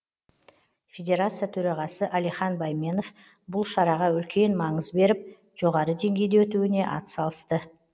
федерация төрағасы алихан байменов бұл шараға үлкен маңыз беріп жоғары деңгейде өтуіне атсалысты